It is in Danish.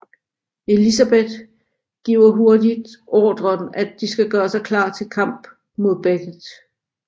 Elizabeth giver hurtigt ordren at de skal gøre sig klar til kamp mod Beckett